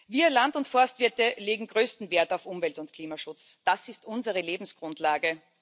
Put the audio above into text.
Wir Land und Forstwirte legen größten Wert auf Umwelt und Klimaschutz, das ist unsere Lebensgrundlage.